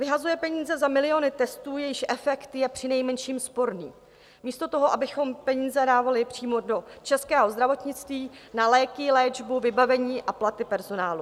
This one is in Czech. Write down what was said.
Vyhazuje peníze za miliony testů, jejichž efekt je přinejmenším sporný, místo toho, abychom peníze dávali přímo do českého zdravotnictví, na léky, léčbu, vybavení a platy personálu.